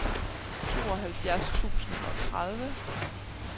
tooghalvfjerds tusind og tredive